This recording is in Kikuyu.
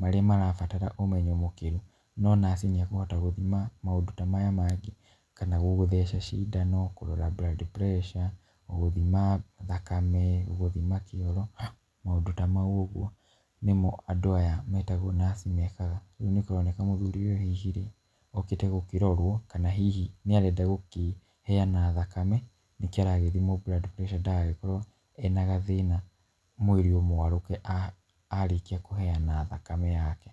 marĩa marabatara ũmenyo mũkĩru, no nurse nĩ akũhota gũthima maũndũ ta maya mangĩ, kana gũgũtheca cindano, kũrora blood pressure, gũgũthima thakame, gũgũthima kĩoro maũndũ ta mau ũguo, nĩmo andũ aya metagwo nurse mekaga, rĩu nĩ kũroneka mũthuri ũyũ hihi okĩte gũkĩrorwo kana hihi nĩ arenda gũkĩheyana thakame, nĩkĩo aragĩthimwo blood pressure ndagagĩkorwo ena gathĩna, mwĩrĩ ũmwarũke arĩkia kũheyana thakame yake.